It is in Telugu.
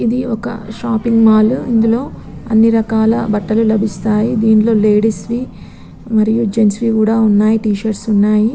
ఇది ఒక షాపింగ్ మాల్ ఇందులో అని రకాల బట్టలూ లబిస్తాయి. దీంట్లో లేడీస్ వి మరియు జెంట్స్ వి కూడా వున్నాయ్ టీ షర్టు లు ఉన్నాయి.